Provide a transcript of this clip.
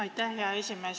Aitäh, hea esimees!